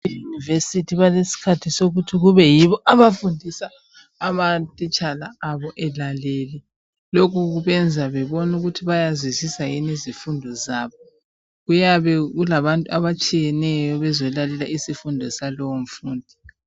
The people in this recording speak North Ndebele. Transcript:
EYunivesi balesikhathi sokuthi kube yibo abafundisa amatitshala abo elalele. Lokhu kubenza bebone ukuthi bayazwisisa yini izifundo zabo. Kuyabe kulabantu abatshiyeneyo bezolalela isifundo salowomfundi.